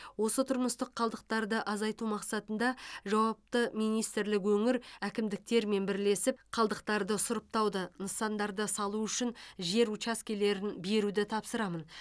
осы тұрмыстық қалдықтарды азайту мақсатында жауапты министрлік өңір әкімдіктерімен бірлесіп қалдықтарды сұрыптауды нысандарды салу үшін жер учаскелерін беруді тапсырамын